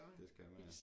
Det skal man ja